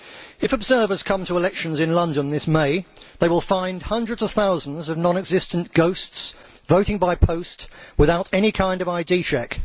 If observers come to elections in London this May they will find hundreds of thousands of non existent ghosts voting by post without any kind of ID check.